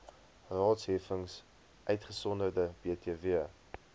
raadsheffings uitgesonderd btw